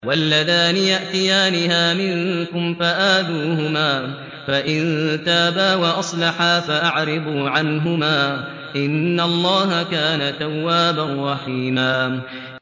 وَاللَّذَانِ يَأْتِيَانِهَا مِنكُمْ فَآذُوهُمَا ۖ فَإِن تَابَا وَأَصْلَحَا فَأَعْرِضُوا عَنْهُمَا ۗ إِنَّ اللَّهَ كَانَ تَوَّابًا رَّحِيمًا